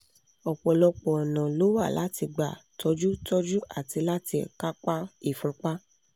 ọ̀pọ̀lọpọ̀ ọ̀nà ló wà láti gbà tọ́jú tọ́jú àti láti kápá ìfúnpá